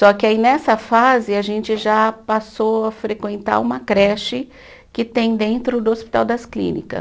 Só que aí nessa fase a gente já passou a frequentar uma creche que tem dentro do Hospital das Clínicas.